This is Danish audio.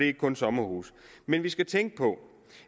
ikke kun sommerhuse men vi skal tænke på